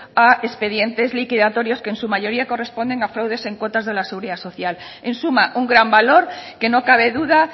a expedientes liquidatorios que en su mayoría corresponden a fraudes en cuotas de la seguridad social en suma un gran valor que no cabe duda